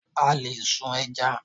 A lè sun ẹja.